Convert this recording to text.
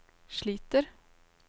sliter